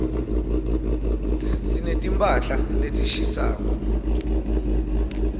sineti mphahla letishisako